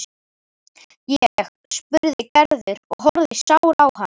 Ég? spurði Gerður og horfði sár á hann.